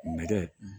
Nɛgɛ